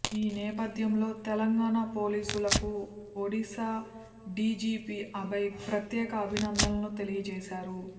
ఈ నేపథ్యంలో తెలంగాణ పోలీసులకు ఒడిశా డీజీపీ అభయ్ ప్రత్యేక అభినందనలు తెలియజేశారు